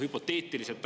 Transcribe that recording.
Hüpoteetiliselt …